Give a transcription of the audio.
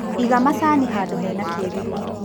Iga macani handũ hena kĩruru.